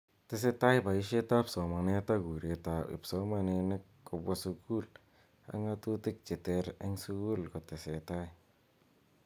Tesetai boishet ab somanet ak kuret ab kipsomaninik kobwa sukul ak ng'atutik cheter eng sukul kotesetai.